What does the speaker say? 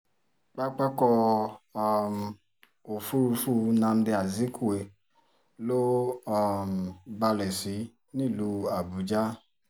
pápákọ̀ um òfurufú nnamdi azikwe ló um balẹ̀ sí nílùú àbújá